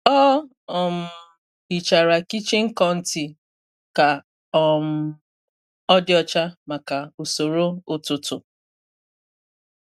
Ọ um hichara kichin kọọntị ka um ọ dị ọcha maka usoro ụtụtụ.